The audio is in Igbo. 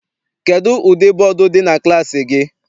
Kedụ ụdị bọdu dị na klassi gị?